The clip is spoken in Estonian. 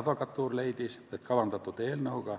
Advokatuur leidis, et kavandatud eelnõuga